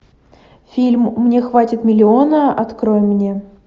фильм мне хватит миллиона открой мне